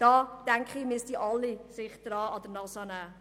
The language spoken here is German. Hier sollten sich alle an die eigene Nase fassen.